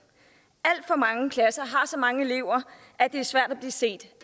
alt for mange klasser har så mange elever at det er svært at blive set